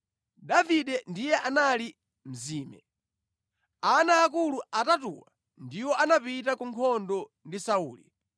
Davide ndiye anali mzime. Ana aakulu atatuwo ndiwo anapita ku nkhondo ndi Sauli.